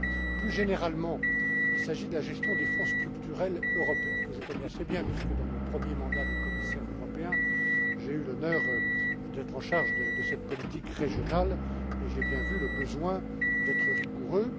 Mais, plus généralement, il s'agit de la gestion des Fonds structurels européens, que je connais assez bien, puisque, dans mon premier mandat de commissaire européen, j'ai eu l'honneur d'être en charge de cette politique régionale, et j'ai bien vu la nécessité d'être rigoureux.